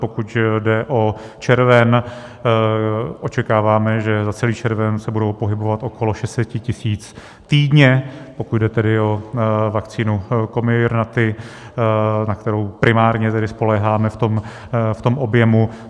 Pokud jde o červen, očekáváme, že za celý červen se budou pohybovat okolo 600 tisíc týdně, pokud jde tedy o vakcínu Comirnaty, na kterou primárně tedy spoléháme v tom objemu.